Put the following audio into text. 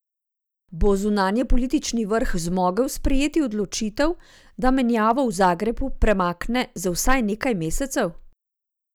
Bo zunanjepolitični vrh zmogel sprejeti odločitev, da menjavo v Zagrebu premakne za vsaj nekaj mesecev?